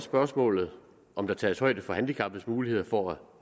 spørgsmålet om der tages højde for handicappedes muligheder for at